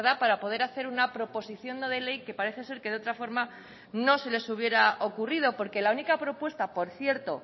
para poder hacer una proposición no de ley que parece ser que de otra forma no se les hubiera ocurrido porque la única propuesta por cierto